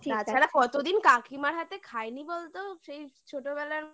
ঠিক আছে তাছাড়া কতদিন কাকিমার হাতে খাইনি বলতো সেই ছোটবেলার